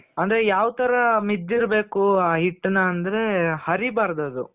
ಅಂದ್ರೆ ಯಾವ್ ತರ ಮಿದ್ದಿರ್ಬೇಕು ಆ ಹಿಟ್ಟುನ ಅಂದ್ರೆ, ಹರಿಬಾರ್ದು ಅದು